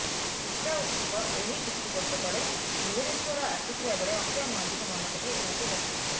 ଊଷା ଉଥୁପ ଏହି କିଛି ବର୍ଷ ତଳେ ଭୁବନେଶ୍ୱର ଆସିଥିବା ବେଳେ ଅକ୍ଷୟ ମହାନ୍ତିଙ୍କୁ ମନେପକାଇ ଏହାକୁ ଗାଇଥିଲେ